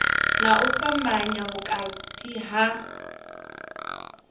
na u fhambanya vhukati ha